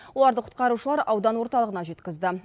оларды құтқарушылар аудан орталығына жеткізді